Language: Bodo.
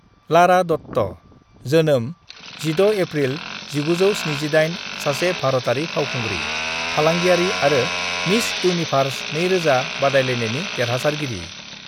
"लारा दत्ता (जोनोम 16 एप्रिल 1978) सासे भारतारि फावखुंग्रि, फालांगियारि आरो मिस इउनिभार्स 2000 बादायलायनायनि देरहासारगिरि।"